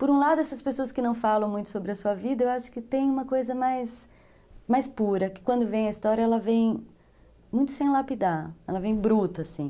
Por um lado, essas pessoas que não falam muito sobre a sua vida, eu acho que tem uma coisa mais pura, que quando vem a história, ela vem muito sem lapidar, ela vem bruta, assim.